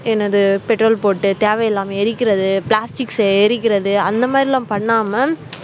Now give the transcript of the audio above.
என்னது petrol போட்டு தேவையில்லாம எரிக்கிறது plastics அ எரிக்கிறது அந்த மாதிரி எல்லாம் பண்ணாம